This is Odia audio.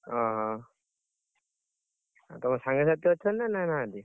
ଓହୋ! ତମ ସାଙ୍ଗସାଥି ଅଛନ୍ତି ନା ନାହାନ୍ତି?